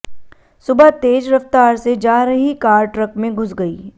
सुबह तेज रफ्तार से जा रही कार ट्रक में घुस गई